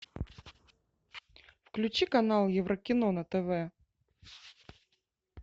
включи канал еврокино на тв